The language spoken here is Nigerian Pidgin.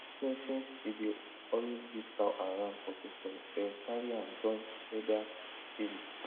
since since he dey always give cow and ram for festival dem carry am join elders table